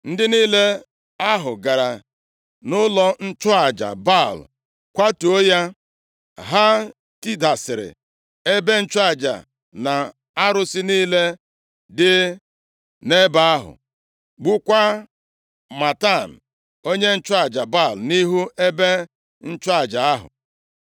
Ndị niile ahụ gara nʼụlọ nchụaja Baal kwatuo ya. Ha tidasịrị ebe nchụaja na arụsị niile dị nʼebe ahụ, gbukwaa Matan onye nchụaja Baal nʼihu ebe ịchụ aja ahụ.